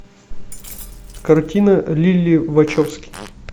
картина лилли вачовски